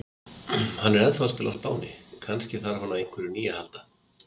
Hann er enn að spila á Spáni, kannski þarf hann á einhverju nýju að halda?